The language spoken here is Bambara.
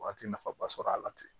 Waati nafaba sɔrɔ a la ten